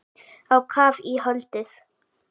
Á kaf í holdið.